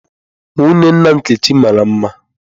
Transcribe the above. Nwunye nna Nkechi mara mma.